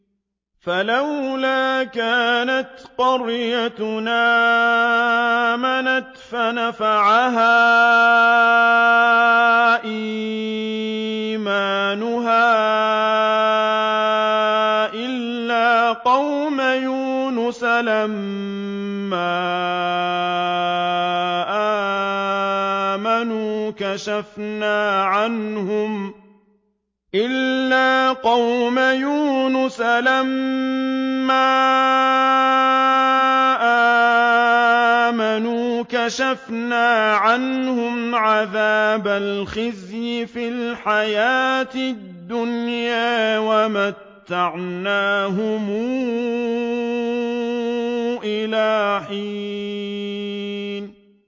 فَلَوْلَا كَانَتْ قَرْيَةٌ آمَنَتْ فَنَفَعَهَا إِيمَانُهَا إِلَّا قَوْمَ يُونُسَ لَمَّا آمَنُوا كَشَفْنَا عَنْهُمْ عَذَابَ الْخِزْيِ فِي الْحَيَاةِ الدُّنْيَا وَمَتَّعْنَاهُمْ إِلَىٰ حِينٍ